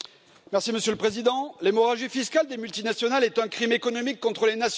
Monsieur le Président, l'hémorragie fiscale des multinationales est un crime économique contre les nations.